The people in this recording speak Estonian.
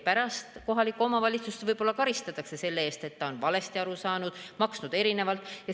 Pärast kohalikku omavalitsust võib-olla karistatakse selle eest, et ta on valesti aru saanud, maksnud erinevalt.